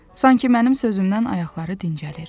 Sanki mənim sözümdən ayaqları dincəlir.